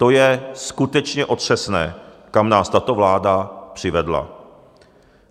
To je skutečně otřesné, kam nás tato vláda přivedla.